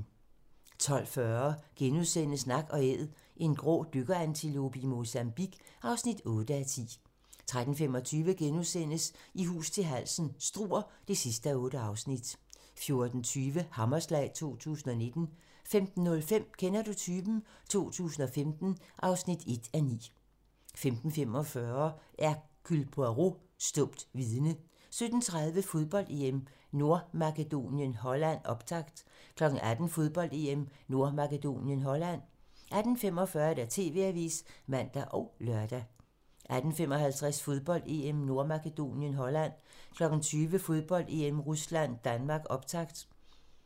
12:40: Nak & Æd - en grå dykkerantilope i Mozambique (8:10)* 13:25: I hus til halsen - Struer (8:8)* 14:20: Hammerslag 2019 15:05: Kender du typen? 2015 (1:9) 15:45: Hercule Poirot: Stumt vidne 17:30: Fodbold: EM - Nordmakedonien-Holland, optakt 18:00: Fodbold: EM - Nordmakedonien-Holland 18:45: TV-avisen (man og lør) 18:55: Fodbold: EM - Nordmakedonien-Holland 20:00: Fodbold: EM - Rusland-Danmark, optakt